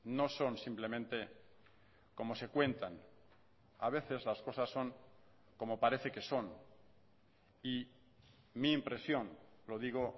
no son simplemente como se cuentan a veces las cosas son como parece que son y mi impresión lo digo